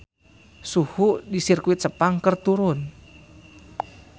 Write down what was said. Suhu di Sirkuit Sepang keur turun